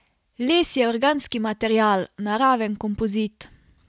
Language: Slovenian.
Les je organski material, naraven kompozit.